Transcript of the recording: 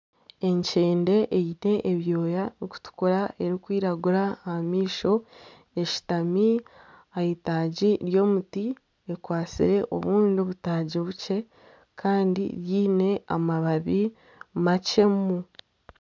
Ekyende eine ebyooya ebirikutukura nana ebirikwiragura aha maisho eshutami aheitagi ryomuti ekwatsire obundi butaagi bukye Kandi byiine amababi makyemu.